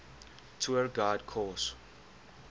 tour guide course